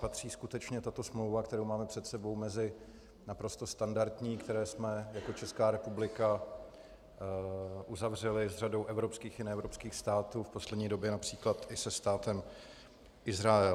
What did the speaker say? Patří skutečně tato smlouva, kterou máme před sebou, mezi naprosto standardní, které jsme jako Česká republika uzavřeli s řadou evropských i neevropských států, v poslední době například i se státem Izrael.